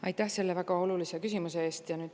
Aitäh selle väga olulise küsimuse eest!